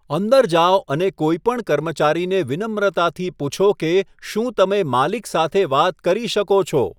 અંદર જાઓ અને કોઈ પણ કર્મચારીને વિનમ્રતાથી પૂછો કે શું તમે માલિક સાથે વાત કરી શકો છો.